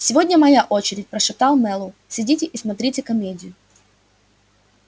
сегодня моя очередь прошептал мэллоу сидите и смотрите комедию